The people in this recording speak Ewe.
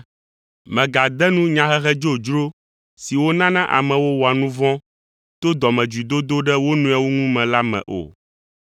Mègade nu nyahehe dzodzro siwo nana amewo wɔa nu vɔ̃ to dɔmedzoedodo ɖe wo nɔewo ŋu me la me o.